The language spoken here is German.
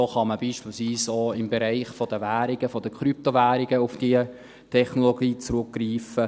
So kann man beispielsweise auch im Bereich der Währungen und der Krypto-Währungen auf diese Technologie zurückgreifen.